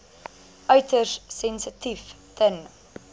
uiters sensitief ten